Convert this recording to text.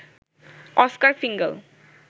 Oscar ফিঙ্গাল